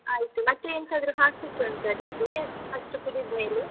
ಆಯ್ತು, ಮತ್ತೆ ಎಂತಾದ್ರೂ ಹಾಕ್ಲಿಕ್ಕೆ ಉಂಟ ಅದಿಕ್ಕೆ? ಅಷ್ಟು ಕುದಿದ್ಮೇಲೆ?